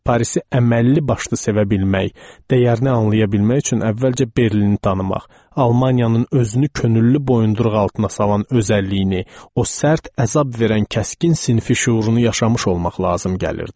Parisi əməlli başlı sevə bilmək, dəyərini anlaya bilmək üçün əvvəlcə Berlini tanımaq, Almaniyanın özünü könüllü boyunduruq altına salan özəlliyini, o sərt əzab verən kəskin sinfi şüurunu yaşamış olmaq lazım gəlirdi.